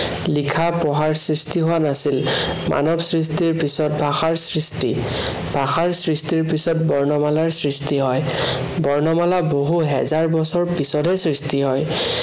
লিখা-পঢ়াৰ সৃষ্টি হোৱা নাছিল। মানৱ সৃষ্টিৰ পিছত ভাষাৰ সৃষ্টি। ভাষাৰ সৃষ্টিৰ পিছত বৰ্ণমালাৰ সৃষ্টি হয়। বৰ্ণমালা বহু হেজাৰ বছৰ পিছতহে সৃষ্টি হয়।